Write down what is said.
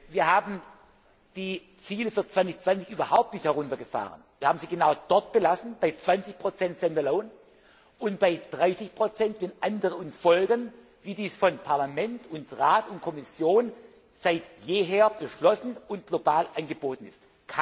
Gleiche. Wir haben die Ziele für 2020 überhaupt nicht heruntergefahren. Wir haben sie genau dort belassen, bei 20 stand alone und bei 30 wenn andere uns folgen, wie dies von Parlament, Rat und Kommission seit jeher beschlossen und global angeboten